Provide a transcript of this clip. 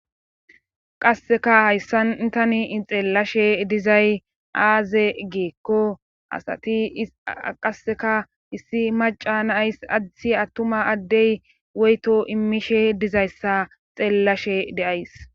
Qasseka hayssantani ixeellashe dizay aaze geekko asati qasseka issi maca naays adithi attuma addey woyto imishe dizayssa xeellashe deays.